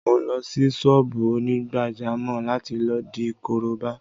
Mo lọ sí ṣọ́ọ́bù onígbàjámọ̀ láti lọ di korobá